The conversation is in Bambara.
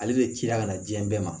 Ale bɛ ci la ka na diɲɛ bɛɛ ma